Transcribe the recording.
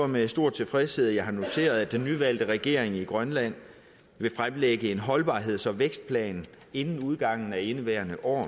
med stor tilfredshed at jeg har noteret at den nyvalgte regering i grønland vil fremlægge en holdbarheds og vækstplan inden udgangen af indeværende år